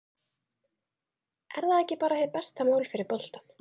Er það ekki bara hið besta mál fyrir boltann?